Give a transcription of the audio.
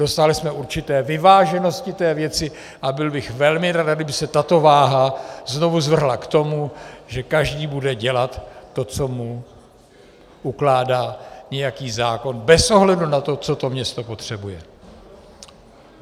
Dosáhli jsme určité vyváženosti té věci a byl bych velmi nerad, kdyby se tato váha znovu zvrhla k tomu, že každý bude dělat to, co mu ukládá nějaký zákon, bez ohledu na to, co to město potřebuje.